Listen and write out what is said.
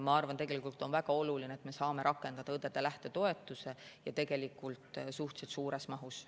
Ma arvan, et on väga oluline, et me saame rakendada õdede lähtetoetust ja tegelikult suhteliselt suures mahus.